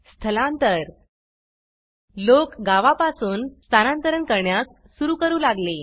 स्थलांतर लोक गावा पासून स्थानांतरन करण्यास सुरू करू लागेल